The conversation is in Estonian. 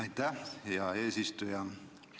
Aitäh, hea eesistuja!